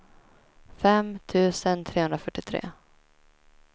fem tusen trehundrafyrtiotre